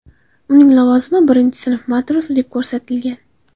Uning lavozimi birinchi sinf matrosi deb ko‘rsatilgan.